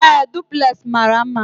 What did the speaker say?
Ee, Duplex mara mma